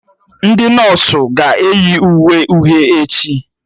Ndị nọsụ ga-eyi uwe uhie echi